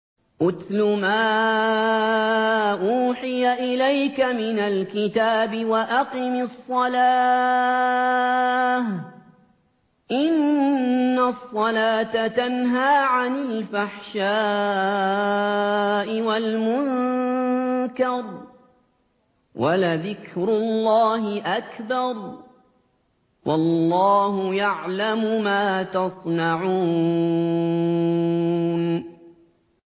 اتْلُ مَا أُوحِيَ إِلَيْكَ مِنَ الْكِتَابِ وَأَقِمِ الصَّلَاةَ ۖ إِنَّ الصَّلَاةَ تَنْهَىٰ عَنِ الْفَحْشَاءِ وَالْمُنكَرِ ۗ وَلَذِكْرُ اللَّهِ أَكْبَرُ ۗ وَاللَّهُ يَعْلَمُ مَا تَصْنَعُونَ